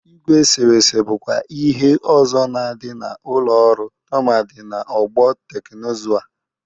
Igwe eserese bụkwa ihe ọzọ na-adị n'ụlọ ọrụ tụmadị n'ọgbọ teknụzụ a.